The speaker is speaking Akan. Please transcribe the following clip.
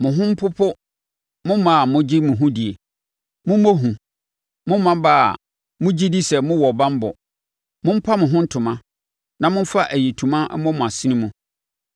Mo ho mpopo mo mmaa a mogye mo ho die; mommɔ hu, mo mmammaa a mogye di sɛ mowɔ banbɔ! Mompa mo ho ntoma na momfa ayitoma mmɔ mo asene mu.